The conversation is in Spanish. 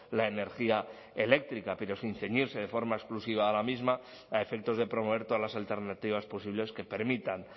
la energía eléctrica pero sin ceñirse de forma exclusiva a la misma a efectos de promover todas las alternativas posibles que permitan